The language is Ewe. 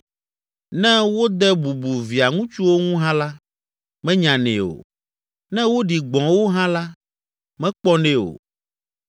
Ne wode bubu via ŋutsuwo ŋu hã la, menyanɛ o, ne woɖi gbɔ̃ wo hã la, mekpɔnɛ o.